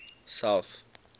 south